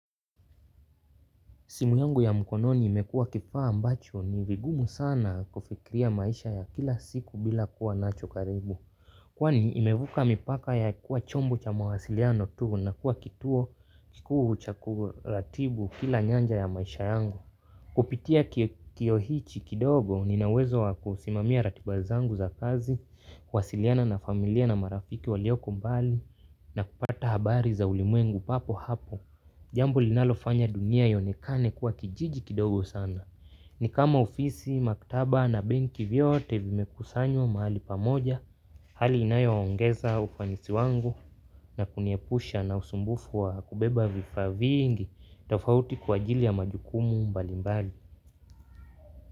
Simu yangu ya mkononi imekuwa kifaa ambacho ni vigumu sana kufikiria maisha ya kila siku bila kuwa nacho karibu. Kwani imevuka mipaka ya kuwa chombo cha mawasiliano tu na kuwa kituo kikuu cha kuratibu kila nyanja ya maisha yangu. Kupitia kioo hichi kidogo ninaweza wa kusimamia ratiba zangu za kazi, kuwasiliana na familia na marafiki walioko mbali na kupata habari za ulimwengu papo hapo. Jambo linalofanya dunia ionekane kuwa kijiji kidogo sana. Ni kama ofisi, maktaba na benki vyote vimekusanywa mahali pamoja. Hali inayo ongeza ufanisi wangu na kuniepusha na usumbufu wa kubeba vifaa vingi. Tofauti kwa ajili ya majukumu mbalimbali.